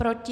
Proti?